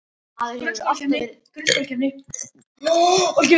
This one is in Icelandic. Maður hefur alltaf verið að vona að þetta gæti blessast.